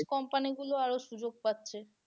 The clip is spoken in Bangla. Company গুলো আরো সুযোগ পাচ্ছে।